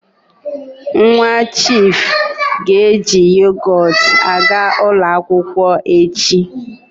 Nwa chiifu ga-eji yogot aga ụlọ akwụkwọ echi.